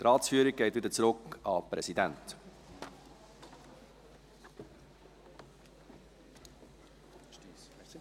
Die Ratsführung geht wieder zurück an den Präsidenten.